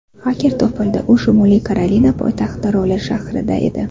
Xaker topildi, u Shimoliy Karolina poytaxti Roli shahrida edi.